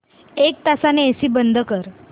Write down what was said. एक तासाने एसी बंद कर